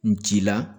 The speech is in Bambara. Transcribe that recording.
N ci la